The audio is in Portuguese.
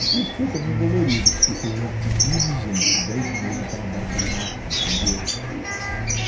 E que isso foi também dolorido, porque você vê um tiquinho de gente, dez meses, naquela baita maca, entendeu?